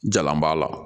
Jalan b'a la